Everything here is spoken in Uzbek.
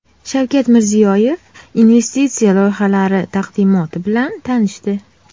Shavkat Mirziyoyev investitsiya loyihalari taqdimoti bilan tanishdi.